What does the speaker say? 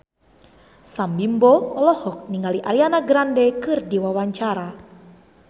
Sam Bimbo olohok ningali Ariana Grande keur diwawancara